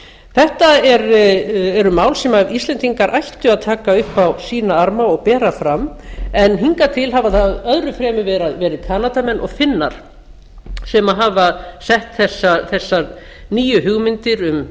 þetta eru mál sem íslendingar ættu að taka upp á sína arma og bera fram en hingað til hafa það öðrum fremur verið kanadamenn og finnar sem hafa sett þessar nýju hugmyndir um